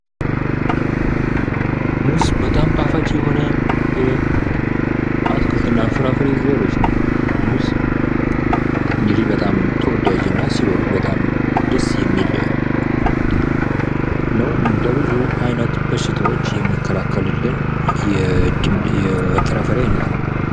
ሙዝ በጣም ጣፋጭ የሆነ የአትክልትና ፍራፍሬ ዘሮች ነው። ሙዝ በጣም እንግዲህ ተወዳጂና ሲበሉት በጣም ደስ የሚል ነው፤ ለብዙ አይነት በሽታወች የሚከላከልልን የፍራፍሬ አይነት ነው።